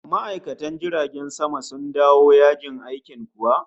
Ma'aikatan jiragen sama sun dawo yajin aikin kuwa?